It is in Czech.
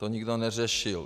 To nikdo neřešil.